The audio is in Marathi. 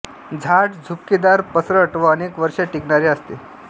झाड झुपकेदार पसरट व अनेक वर्षे टिकणारे असते